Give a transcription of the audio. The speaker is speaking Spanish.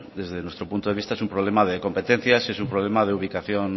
desde nuestro punto de vista es un problema de competencias y es un problema de ubicación